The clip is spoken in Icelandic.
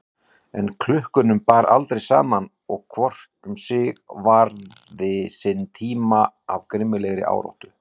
En klukkunum bar aldrei saman og hvor um sig varði sinn tíma af grimmilegri áráttu.